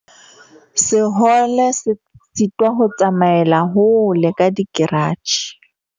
Sehole se sitwa ho tsamaela hole ka dikeratjhe.